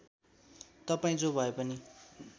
तपाईँ जो भएपनि